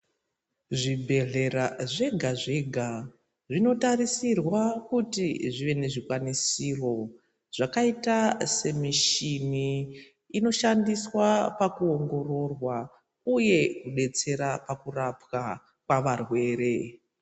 Zvibhedhlera zvega-zvega, zvinotarisirwa kuti zvive nezvikwanisiro ,zvakaita semishini inoshandiswa pakuongororwa uye kudetsera pakurapwa kwavarwere.